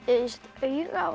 auga og